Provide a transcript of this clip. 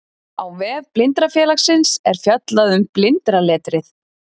Á vef Blindrafélagsins er fjallað um blindraletrið.